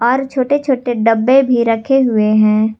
और छोटे छोटे डब्बे भी रखे हुए हैं।